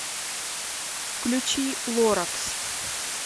включи лоракс